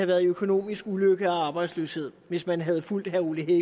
været i økonomisk ulykke og været arbejdsløse hvis man havde fulgt herre ole